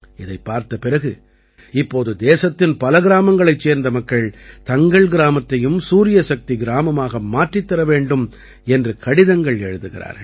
இதைப் பார்த்த பிறகு இப்போது தேசத்தின் பல கிராமங்களைச் சேர்ந்த மக்கள் தங்கள் கிராமத்தையும் சூரியசக்தி கிராமமாக மாற்றித் தர வேண்டும் என்று கடிதங்கள் எழுதுகிறார்கள்